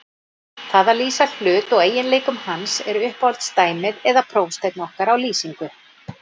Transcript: Það að lýsa hlut og eiginleikum hans er uppáhalds dæmið eða prófsteinn okkar á lýsingu.